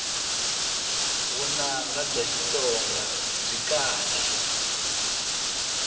vunanga bya xitsonga byi kahle